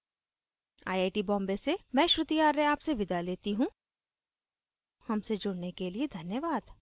I I T Bombay से मैं श्रुति आर्य आपसे विदा लेती हूँ हमसे जुड़ने के लिए धन्यवाद